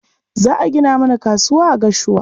Za a gina mana kasuwa a Gashua.